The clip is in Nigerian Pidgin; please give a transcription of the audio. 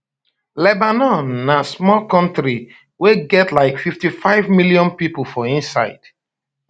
lebanon na small kontri wey get like 55 million pipo for inside